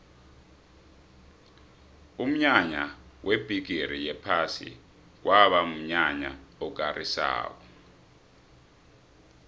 umnyanya webhigiri yephasi kwaba mnyanya okarisako